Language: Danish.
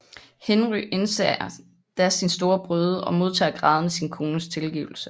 Henry indser da sin store brøde og modtager grædende sin kones tilgivelse